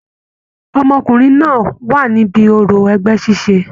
Ọmọkùnrin náà wà níbí òrò ẹgbẹ ṣiṣe.